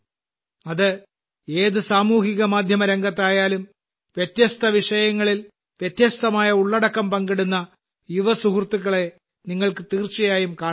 അത് ഏത് സാമൂഹ്യ മാധ്യമ രംഗത്തായാലും വ്യത്യസ്ത വിഷയങ്ങളിൽ വ്യത്യസ്തമായ ഉള്ളടക്കം പങ്കിടുന്ന യുവ സുഹൃത്തുക്കളെ നിങ്ങൾക്ക് തീർച്ചയായും കണാനാകും